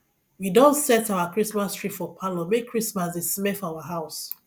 we don set our christmas tree for parlour make christmas dey smell for our house